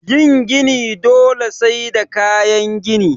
Yin gini dole sai da kayan gini